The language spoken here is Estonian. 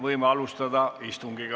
Võime alustada istungit.